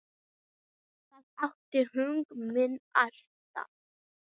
Það átti hug minn allan.